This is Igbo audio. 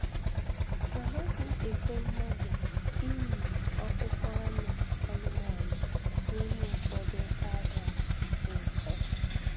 Anaghị ekwe mmadụ iyi akpụkpọ anụ anụmanụ n'ime ụfọdụ oke ọhịa dị nsọ.